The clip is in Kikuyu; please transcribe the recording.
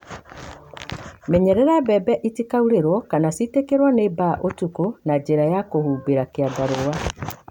Menyerera mbembe itikaurĩrwo kana citĩkĩrwo nĩ mbaa ũtukũ na njĩra ya kũhumbĩra kĩandarũa